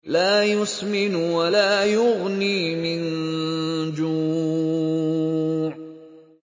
لَّا يُسْمِنُ وَلَا يُغْنِي مِن جُوعٍ